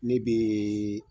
Ne bɛ